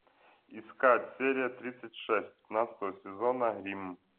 искать серия тридцать шесть пятнадцатого сезона рим